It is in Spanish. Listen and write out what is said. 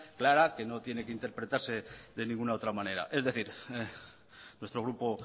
clara que no tiene que interpretarse de ninguna otra manera es decir nuestro grupo